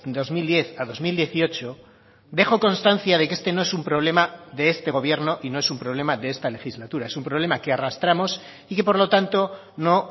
dos mil diez a dos mil dieciocho dejo constancia de que este no es un problema de este gobierno y no es un problema de esta legislatura es un problema que arrastramos y que por lo tanto no